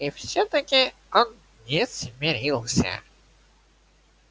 и всё-таки он не смирился